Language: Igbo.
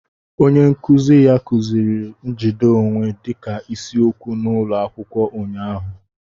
Onye nkuzi ya kuziri njide onwe dịka isiokwu n'ụlọ akwụkwọ ụnyahụ